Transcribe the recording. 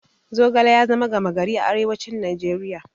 Zogale ya zama gama gari a arewacin Najeriya.